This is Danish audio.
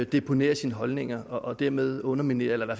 deponerer sine holdninger og dermed underminerer eller